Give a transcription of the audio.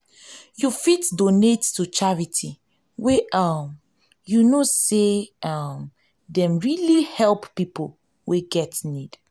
you fit donate to charity wey um you know sey um dey really help pipo wey get need